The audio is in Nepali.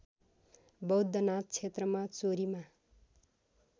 बौद्धनाथ क्षेत्रमा चोरीमा